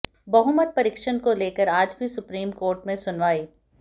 बहुमत परीक्षण को लेकर आज भी सुप्रीम कोर्ट में सुनवाई